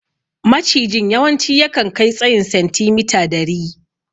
Macijin yawanci yakan kai tsayin sentimita dari.